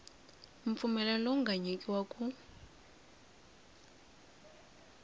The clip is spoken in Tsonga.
mpfumelelo lowu nga nyikiwa ku